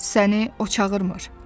Səni o çağırmır.